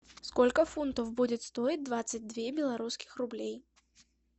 сколько фунтов будет стоить двадцать две белорусских рублей